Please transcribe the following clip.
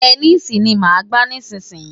Tẹníìsì ni màá máa gbá nísìnyín.